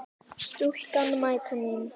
Stúlkan mæta mín.